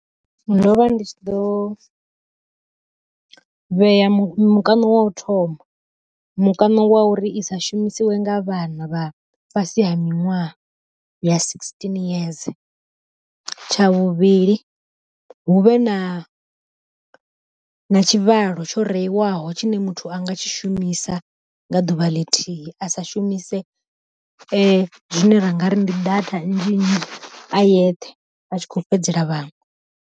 Ndo vha ndi tshi ḓo vhea mikano wa u thoma, mukano wa uri i sa shumisiwe nga vhana vha fhasi ha miṅwaha ya sixteen yeze. Tsha vhuvhili hu vhe na na tshivhalo tsho reiwaho tshine muthu a nga tshi shumisa nga ḓuvha ḽithihi a sa shumise zwine ra nga ri ndi data nnzhi nnzhi a yeṱhe a tshi kho fhedzela vhaṅwe.